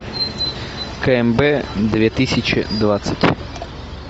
кмб две тысячи двадцать